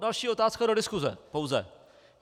Další otázka do diskuse pouze.